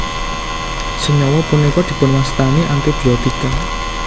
Senyawa punika dipunwastani antibiotika